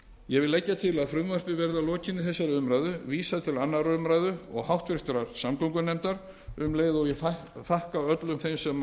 ég legg til að frumvarpinu verði að lokinni þessari umræðu vísað til annarrar umræðu og háttvirtrar samgöngunefndar um leið og ég þakka öllum þeim sem hér